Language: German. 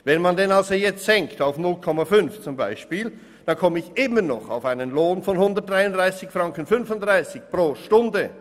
Senkt man diesen also beispielsweise auf 0,5 Prozent, komme ich immer noch auf einen Lohn von 133,35 Franken pro Stunde.